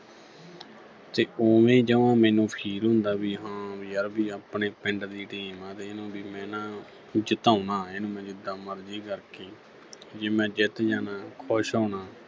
ਤੇ ਉਵੇਂ ਜਵਾਂ ਮੈਨੂੰ feel ਹੁੰਦਾ ਵੀ ਹਾਂ ਵੀ ਯਰ ਵੀ ਆਪਣੇ ਪਿੰਡ ਦੀ team ਆ ਇਹਨੂੰ ਵੀ ਮੈਂ ਨਾ ਜਿਤਾਉਣਾ ਇਹਨੂੰ ਮੈਂ ਜਿੱਦਾਂ ਮਰਜ਼ੀ ਕਰਕੇ ਜੇ ਮੈਚ ਜਿੱਤ ਜਾਣਾ ਖੁਸ਼ ਹੋਣਾ।